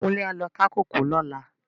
Kunle á lò ká kókòó lòlá